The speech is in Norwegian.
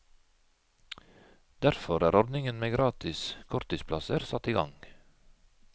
Derfor er ordningen med gratis korttidsplasser satt i gang.